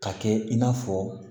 Ka kɛ i n'a fɔ